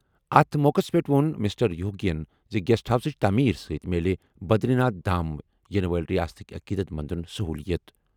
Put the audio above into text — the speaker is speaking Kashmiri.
اَتھ موقعَس پٮ۪ٹھ ووٚن مسٹر یوگی یَن زِ گیسٹ ہاؤسٕچ تٔعمیٖر سۭتۍ میلہِ بدری ناتھ دھام یِنہٕ وٲلۍ ریاستٕک عقیدت مندَن سٔہوٗلِیت۔